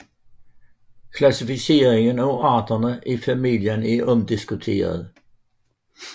Klassificeringen af arterne i familien er omdiskuteret